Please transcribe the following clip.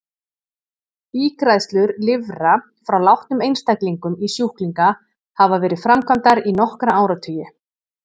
Ígræðslur lifra frá látnum einstaklingum í sjúklinga hafa verið framkvæmdar í nokkra áratugi.